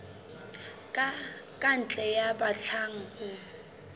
ka ntle ya batlang ho